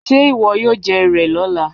Ṣé ìwọ yóò jẹ ìrẹ̀ lọ́là?